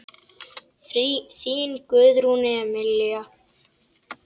Þín Guðrún Emilía.